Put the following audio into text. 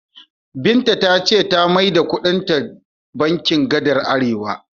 Binta ta ce ta maida duka kuɗinta bankin gadar Arewa.